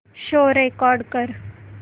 show record कर